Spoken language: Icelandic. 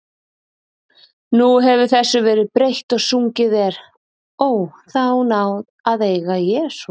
Nú hefur þessu verið breytt og sungið er: Ó, þá náð að eiga Jesú.